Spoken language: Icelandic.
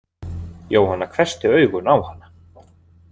Jóhanna hvessti augun á hana.